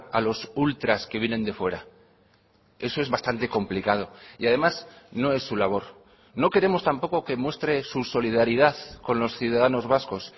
a los ultras que vienen de fuera eso es bastante complicado y además no es su labor no queremos tampoco que muestre su solidaridad con los ciudadanos vascos